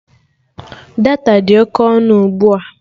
Data dị oke ọnụ ugbua